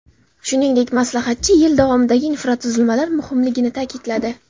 Shuningdek, maslahatchi yil davomidagi infratuzilmalar muhimligini ta’kidladi.